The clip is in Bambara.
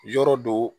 Yɔrɔ do